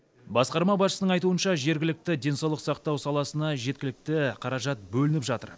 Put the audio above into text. басқарма басшысының айтуынша жергілікті денсаулық сақтау саласына жеткілікті қаражат бөлініп жатыр